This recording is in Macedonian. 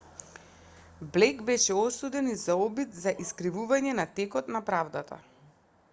блејк беше осуден и за обид за искривување на текот на правдата